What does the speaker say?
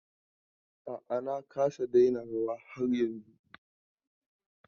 A'a na kasa daina rawa har yanzun.